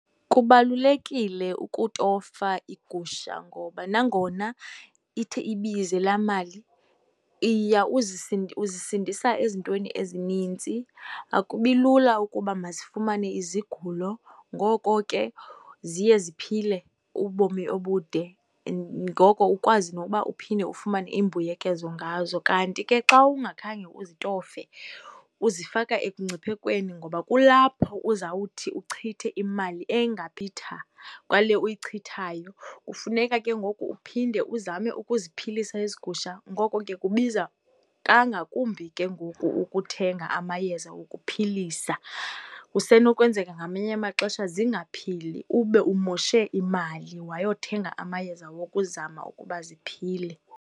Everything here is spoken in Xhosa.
Kubalulekile ukutofa iigusha ngoba nangona ithi ibize laa mali uzisindisa ezintweni ezinintsi. Akubi lula ukuba mazifumane izigulo ngoko ke ziye ziphile ubomi obude, ngoko ukwazi nokuba uphinde ufumane imbuyekezo ngazo. Kanti ke xa ungakhange uzitofe uzifaka ekungciphekweni ngoba kulapho uzawuthi uchithe imali kwale uyichithayo. Kufuneka ke ngoku uphinde uzame ukuziphilisa ezi gusha, ngoko ke kubiza kangakumbi ke ngoku ukuthenga amayeza okuphilisa. Kusenokwenzeka ngamanye amaxesha zingaphili ube umoshe imali wayothenga amayeza wokuzama ukuba ziphile.